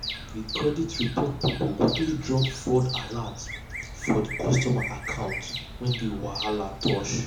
the credit report people quickly drop fraud alert for um the customer account wey the um wahala touch. um